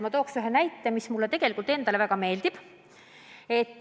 Ma toon ühe näite, mis mulle endale väga meeldib.